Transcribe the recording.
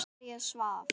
María svaf.